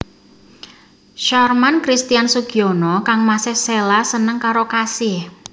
Sharman Christian Sugiono kangmasé Sheila seneng karo Kasih